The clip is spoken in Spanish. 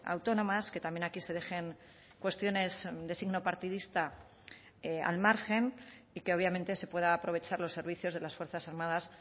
autónomas que también aquí se dejen cuestiones de signo partidista al margen y que obviamente se pueda aprovechar los servicios de las fuerzas armadas